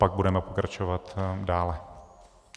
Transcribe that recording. Pak budeme pokračovat dále.